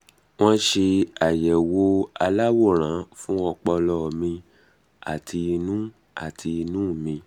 um wọ́n ṣe àyẹ̀wò aláwòrán fún ọpọlọ mi àti inú àti inú mi